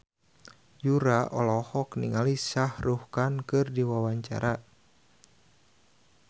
Yura olohok ningali Shah Rukh Khan keur diwawancara